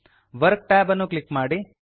work tab ಅನ್ನು click ಮಾಡಿ